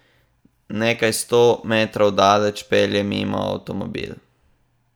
Nekaj sto metrov daleč pelje mimo avtomobil.